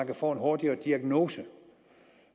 kan få en hurtigere diagnose